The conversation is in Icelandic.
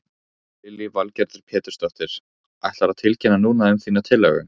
Lillý Valgerður Pétursdóttir: Ætlarðu að tilkynna núna um þína tillögu?